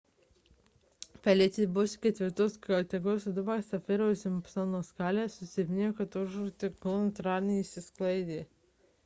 felicija buvusi 4 kategorijos audra pagal safiro ir simpsono skalę susilpnėjo iki atogražų ciklono ir antradienį išsisklaidė